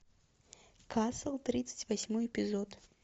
касл тридцать восьмой эпизод